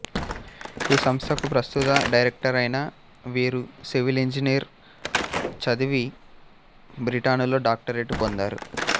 ఈ సంస్థకు ప్రస్తుత డైరెక్టరైన వీరు సివిల్ ఇంజనీరింగ్ చదివి బ్రిటనులో డాక్టరేటు పొందారు